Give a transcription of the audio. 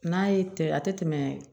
N'a ye tɛ a tɛ tɛmɛ